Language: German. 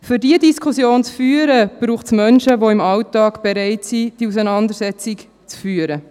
Um diese Diskussion zu führen, braucht es Menschen, die im Alltag bereit sind, diese Auseinandersetzung zu führen.